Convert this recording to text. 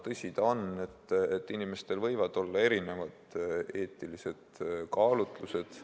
Tõsi ta on, et inimestel võivad olla erinevad eetilised kaalutlused.